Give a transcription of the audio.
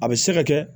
A bɛ se ka kɛ